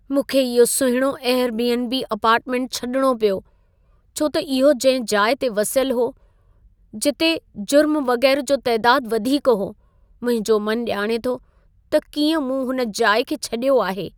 मूंखे इहो सुहिणो एयर बी.एन.बी. अपार्टमेंट छॾिणो पियो, छो त इहो जंहिं जाइ ते वसियल हो, जिथे जुर्म वगै़रह जो तइदादु वधीक हो। मुंहिंजो मन ॼाणे थो त कीअं मूं हुन जाइ खे छडि॒यो आहे।